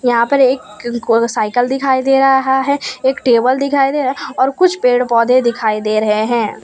यहां पर एक को साइकिल दिखाई दे रहा है एक टेबल दिखाई दे रहा है और कुछ पेड़ पोधै दिखाई दे रहे हैं।